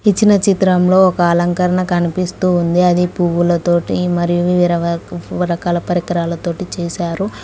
ఇచ్చిన చిత్రంలో ఒక అలంకరణ కనిపిస్తూ ఉంది అది పువ్వులతోటి మరియు రకరకాల పరికరాలతోటి చేశారు.